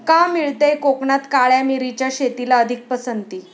का मिळतेय कोकणात काळ्या मिरीच्या शेतीला अधिक पसंती?